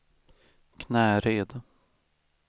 Knäred